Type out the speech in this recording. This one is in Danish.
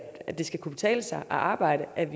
det skal kunne betale sig at arbejde at